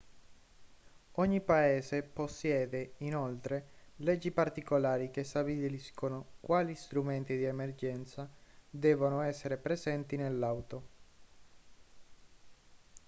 ogni paese possiede inoltre leggi particolari che stabiliscono quali strumenti di emergenza devono essere presenti nell'auto